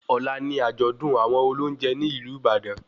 Ọ̀la ni àjọ̀dún àwọn olóúnjẹ ní ìlú Ìbàdàn